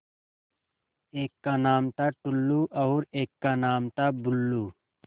एक का नाम था टुल्लु और एक का नाम था बुल्लु